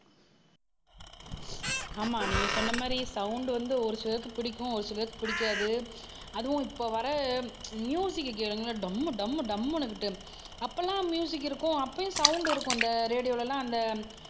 ஆமா நீங்க சொன்ன மாதிரி சவுண்ட் வந்து ஒரு சிலருக்கு பிடிக்கும் ஒரு சிலருக்கு பிடிக்காது அதுவும் இப்ப வர்ற மியூசிக கேளுங்களேன் டம்மு டம்மு டம்முன்னுகிட்டு அப்பெல்லாம் மியூசிக் இருக்கும் அப்பவும் சவுண்ட் இருக்கும் இந்த ரேடியோல எல்லாம் அந்த